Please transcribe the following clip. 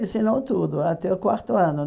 Ensinou tudo até o quarto ano.